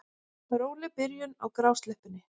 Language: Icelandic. Róleg byrjun á grásleppunni